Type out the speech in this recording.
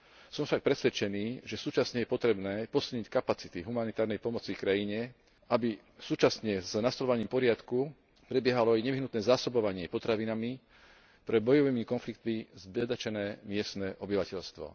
Som však presvedčený, že súčasne je potrebné posilniť kapacity humanitárnej pomoci krajine, aby súčasne s nastoľovaním poriadku prebiehalo aj nevyhnutné zásobovanie potravinami pre bojovými konfliktami zbedačené miestne obyvateľstvo.